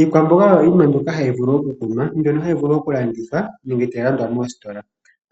Iilwamboga oyo yimwe mbyoka hayi vulu okukunwa , mbyono hayi vulu okulandithwa nenge tayi landwa moositola.